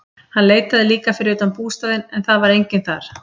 Hann leitaði líka fyrir utan bústaðinn en það var enginn þar.